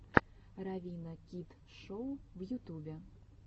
равина кид шоу в ютубе